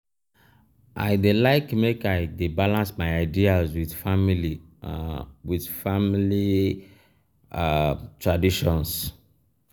i dey like make i dey balance my ideas with family um with family um traditions.